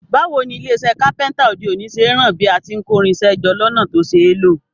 Báwoni ilé isẹ́ Kápẹ́ńtà òde òní ṣe n ran bí a ti n kórinsẹ́ jọ lọ́nà to ṣeé lò